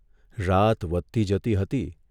રાત વધતી જતી હતી